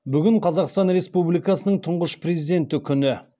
бүгін қазақстан республикасының тұңғыш президенті күні